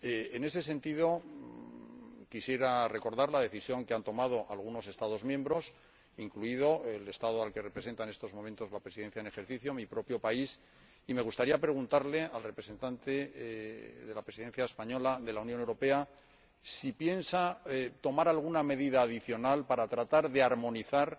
En ese sentido, quisiera recordar la decisión que han tomado algunos Estados miembros, incluido el Estado que ocupa en estos momentos la Presidencia en ejercicio del Consejo, mi propio país, y me gustaría preguntarle al representante de la Presidencia española si piensa tomar alguna medida adicional para tratar de armonizar